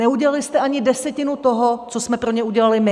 Neudělali jste ani desetinu toho, co jsme pro ně udělali my!